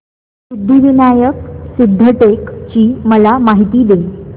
सिद्धिविनायक सिद्धटेक ची मला माहिती दे